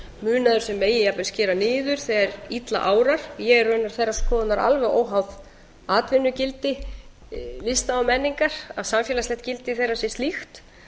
munaður sem megi jafnvel skera niður þegar illa árar ég er raunar þeirrar skoðunar alveg óháð atvinnugildi lista og menningar að samfélagslegt gildi þeirra sé slíkt